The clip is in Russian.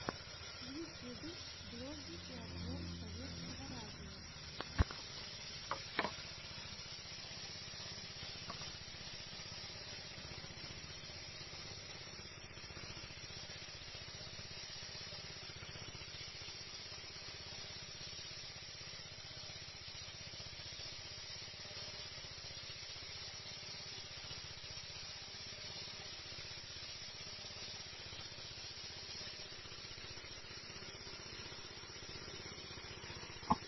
в ютьюбе блоги и обзоры советского радио